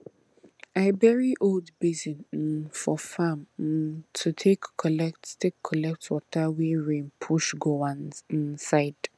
i bury old basin um for farm um to take collect take collect water wey rain push go one um side